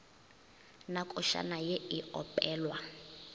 na košana ye e opelwa